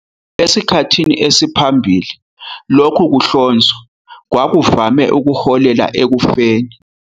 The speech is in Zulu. Esikhathini saphambilini, lokhu kuhlonzwa kwakuvame ukuholela ekufeni.